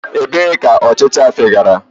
Ebee ka ọchịcha fegara?